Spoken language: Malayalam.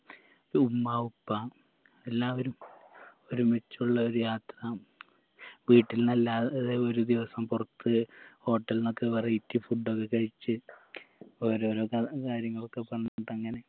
ഉമ്മ ഉപ്പ എല്ലാവരും ഒരുമിച്ചുള്ള ഒരു യാത്ര വീട്ടിന്നെല്ലാ ഏർ ഒരു ദിവസം പൊറത്ത് hotel ന്നൊക്കെ variety food ഒക്കെ കഴിച്ച് ഓരോരോ ത കാര്യങ്ങളൊക്കെ പറഞ്ഞിട്ടങ്ങനെ